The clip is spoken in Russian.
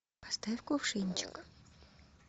поставь кувшинчик